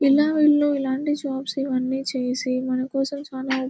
ఇలా వీళ్ళు ఇలాంటి షాప్స్ ఇవన్నీ చేసి మన కోసం చానా--